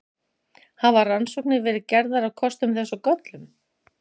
Hafa rannsóknir verið gerðar á kostum þess og göllum?